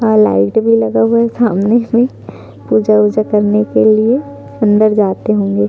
और लाइटे भी लगे हुए है सामने में पूजा उजा करने के लिए मंदिर जाते होंगे।